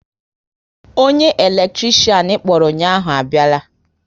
Onye eletrikshan ịkpọrọ ụnyaahụ abiala